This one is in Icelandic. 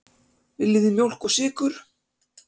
Viljið þið mjólk og sykur?